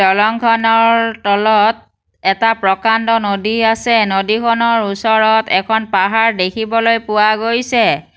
দলংখনৰ তলত এটা প্ৰকাণ্ড নদী আছে নদীখনৰ ওচৰত এখন পাহাৰ দেখিবলৈ পোৱা গৈছে।